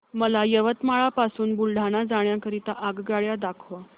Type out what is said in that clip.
मला यवतमाळ पासून बुलढाणा जाण्या करीता आगगाड्या दाखवा